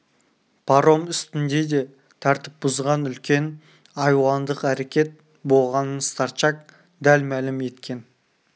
паром үстінде де тәртіп бұзған үлкен айуандық әрекет болғанын старчак дәл мәлім еткен